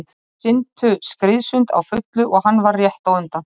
Þau syntu skriðsund á fullu og hann varð rétt á undan.